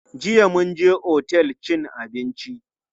Jiya mun je otel cin abinci.